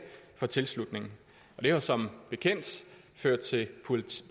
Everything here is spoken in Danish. for tilslutning og det har som bekendt ført til